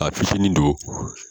A fitiinin don